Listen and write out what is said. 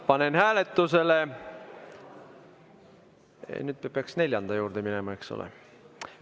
Panen hääletusele – nüüd me peaks neljanda juurde minema, eks ole.